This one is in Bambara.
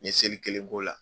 N ɲe seli kelen k'o la